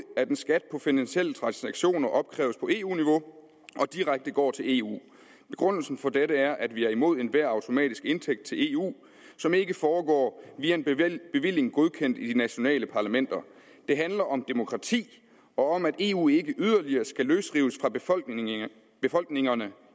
at en skat på finansielle transaktioner opkræves på eu niveau og direkte går til eu begrundelsen for dette er at vi er imod enhver automatisk indtægt til eu som ikke foregår via en bevilling godkendt i de nationale parlamenter det handler om demokrati og om at eu ikke yderligere skal løsrives fra befolkningerne befolkningerne